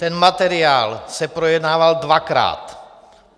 Ten materiál se projednával dvakrát.